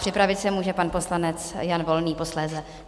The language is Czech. Připravit se může pan poslanec Jan Volný posléze.